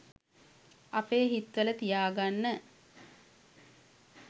අපේ හිත්වල තියාගන්න.